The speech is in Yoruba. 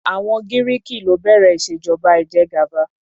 Àwọn Giriki ló bẹ̀rẹ̀ ìṣèjọba ìjẹgàba.